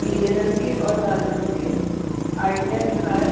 पीले रंग के और लाल रंग के आईडिया लिखा है --